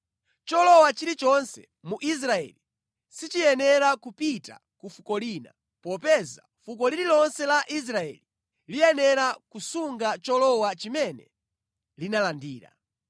Cholowa chilichonse mu Israeli sichiyenera kupita ku fuko lina, popeza fuko lililonse la Israeli liyenera kusunga cholowa chimene linalandira.”